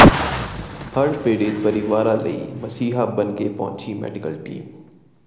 ਹੜ੍ਹ ਪੀੜ੍ਹਤ ਪਰਿਵਾਰਾਂ ਲਈ ਮਸੀਹਾ ਬਣਕੇ ਪਹੁੰਚੀ ਮੈਡੀਕਲ ਟੀਮ